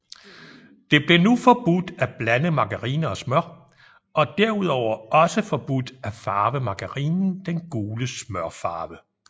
Det blev nu forbudt at blande margarine og smør og derudover også forbudt at farve margarinen den gule smørfarve